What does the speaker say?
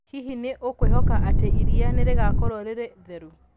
Hihi nĩ ũkwĩhoka atĩ iria nĩ rĩgaakorũo rĩrĩ theru?